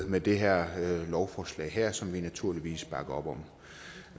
med det her lovforslag som vi naturligvis bakker op om